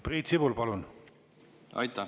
Priit Sibul, palun!